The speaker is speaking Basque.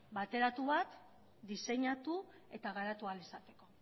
bateratu bat diseinatu eta garatu ahal izateko